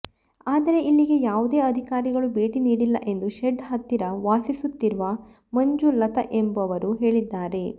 ಆದರೆ ಇಲ್ಲಿಗೆ ಯಾವುದೇ ಅಧಿಕಾರಿಗಳು ಭೇಟಿ ನೀಡಿಲ್ಲ ಎಂದು ಶೆಡ್ ಹತ್ತಿರ ವಾಸಿಸುತ್ತಿರುವ ಮಂಜು ಲತಾ ಎಂಬವರು ಹೇಳಿದ್ದಾರೆ